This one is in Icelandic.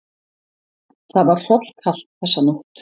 Það var hrollkalt þessa nótt.